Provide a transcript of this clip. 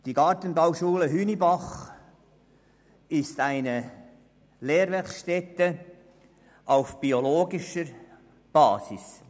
Die Gartenbauschule Hünibach ist eine Lehrwerkstätte auf biodynamischer Basis.